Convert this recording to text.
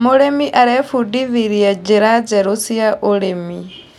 Mũrĩmi arebundithirie njra njerũ cia ũrĩmi.